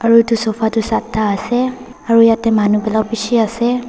etu sofa tuh satha ase aro yatheh manu bera beshi ase.